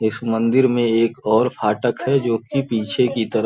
इस मंदिर में एक और फाटक है जो कि पीछे की तरफ --